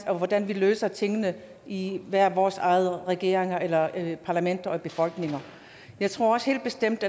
og hvordan vi løser tingene i hver vores regering eller parlament og i befolkninger jeg tror helt bestemt